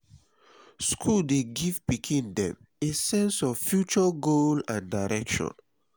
school dey give pikin them a sense of future goal and direction